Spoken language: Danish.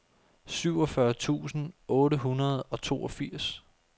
syvogfyrre tusind otte hundrede og toogfirs